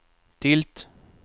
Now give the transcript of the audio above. tilt